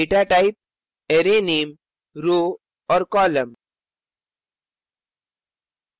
datatype array name row और column